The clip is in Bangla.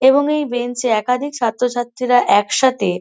এবং এই বেঞ্চ -এ একাধিক ছাত্রছাত্রীরা একসাথে--